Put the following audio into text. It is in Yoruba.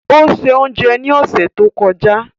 O ṣé oúnjẹ ní ọ̀sẹ̀ tó kọjá.